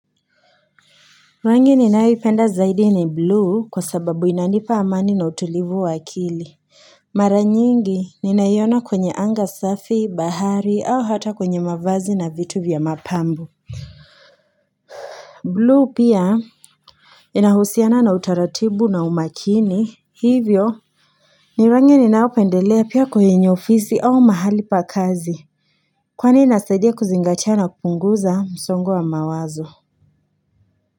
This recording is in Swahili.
Rangi ninayoipenda zaidi ni bluu kwa sababu inanipa amani na utulivu wa akili mara nyingi ninaiona kwenye anga safi bahari au hata kwenye mavazi na vitu vya mapambo blue pia inahusiana na utaratibu na umakini hivyo ni rangi ninayopendelea pia kwenye ofisi au mahali pa kazi kwani inasaidia kuzingatia na kupunguza msongo wa mawazo.